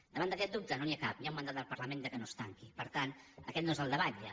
davant d’aquest dubte no n’hi ha cap hi ha un mandat del parlament que no es tanqui per tant aquest no és el debat ja